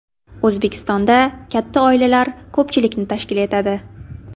O‘zbekistonda katta oilalar ko‘pchilikni tashkil etadi.